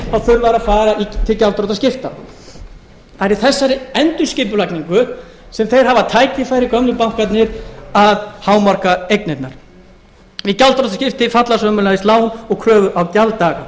þá þurfa þeir að fara til gjaldþrotaskipta það er í þessari endurskipulagningu sem þeir hafa tækifæri gömlu bankarnir að hámarka eignirnar við gjaldþrotaskipti falla sömuleiðis lán og kröfur á gjalddaga